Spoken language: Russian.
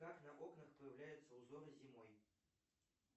как на окнах появляются узоры зимой